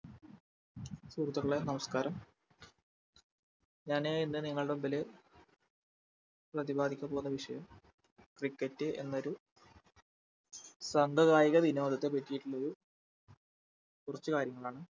സുഹൃത്തുക്കളെ നമസ്ക്കാരം ഞാന് ഏർ ഇന്ന് നിങ്ങളുടെ മുമ്പിൽ പ്രതിപാദിക്കാൻ പോവുന്ന വിഷയം cricket എന്നൊരു സംഭവായിക വിനോദത്തെ പറ്റിറ്റുള്ളൊരു കുറച്ചു കാര്യങ്ങളാണ്